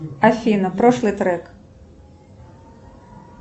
афина прошлый трек